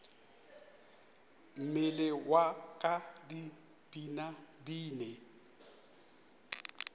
mmele wa ka di binabine